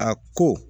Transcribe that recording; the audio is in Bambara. A ko